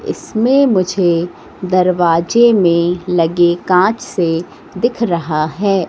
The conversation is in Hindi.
इसमें मुझे दरवाजे में लगे कांच से दिख रहा है।